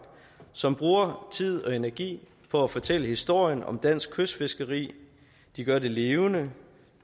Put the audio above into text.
som bruger tid og energi på at fortælle historien om dansk kystfiskeri de gør det levende